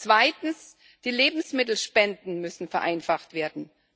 Zweitens Die Lebensmittelspenden müssen vereinfacht werden.